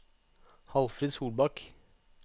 Hallfrid Solbakk